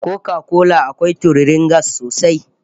Koka kola akwai tururin gas sosai